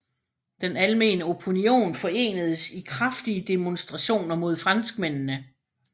Den almene opinion forenedes i kraftige demonstrationer mod franskmændene